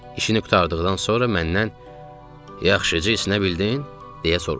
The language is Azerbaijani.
İşini qurtardıqdan sonra məndən "Yaxşıca isinə bildin?" deyə soruşdu.